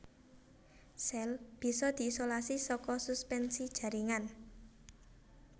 Sèl bisa diisolasi saka suspensi jaringan